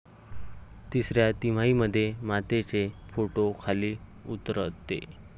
तिसऱ्या तिमाहीमध्ये मातेचे पोट खाली उतरते.